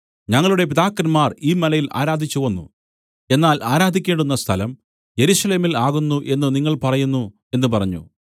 ഞങ്ങളുടെ പിതാക്കന്മാർ ഈ മലയിൽ ആരാധിച്ചുവന്നു എന്നാൽ ആരാധിക്കേണ്ടുന്ന സ്ഥലം യെരൂശലേമിൽ ആകുന്നു എന്നു നിങ്ങൾ പറയുന്നു എന്നു പറഞ്ഞു